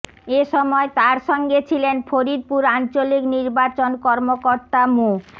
এ সময় তাঁর সঙ্গে ছিলেন ফরিদপুর আঞ্চলিক নির্বাচন কর্মকর্তা মো